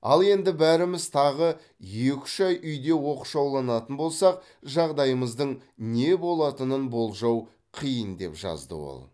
ал енді бәріміз тағы екі үш ай үйде оқшауланатын болсақ жағдайымыздың не болатынын болжау қиын деп жазды ол